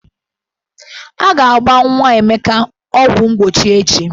A ga-agba nwa Emeka ọgwụmgbochi echi.